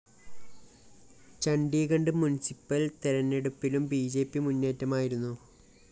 Chandigarh municipal‍ തെരഞ്ഞെടുപ്പിലും B J P മുന്നേറ്റമായിരുന്നു